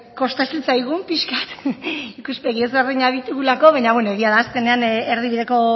kostatu zitzaigun pixka bat ikuspegi desberdinak ditugulako baina beno egia da azkenean erdibideko